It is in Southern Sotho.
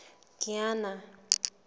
kiana